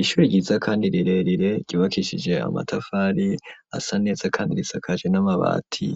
Ishure ryiza kandi rirerire ryubakishije amatafari asa neza kandi risakaje n'amabati,